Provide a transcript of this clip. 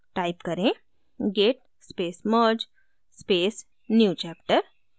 type करें: git space merge space newchapter